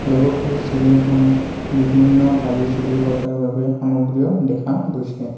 লগতে চেলুন খনত বিভিন্ন দাড়ি চুলি কটাৰ বাবে সামগ্ৰীও দেখা গৈছে।